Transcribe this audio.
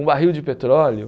Um barril de petróleo.